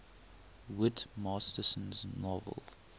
whit masterson's novel